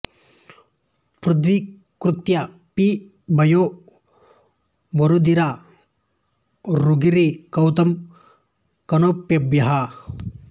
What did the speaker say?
పృధ్వీ కృత్యా పి భూయో నవరుధిర ఝరీ కౌతుకం కౌణపేభ్యః